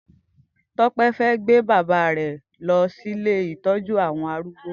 Tope fè gbé bàbá rè lọ si ilé itọjù awọn árúgbó